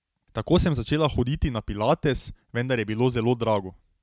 Tako sem začela hoditi na pilates, vendar je bilo zelo drago.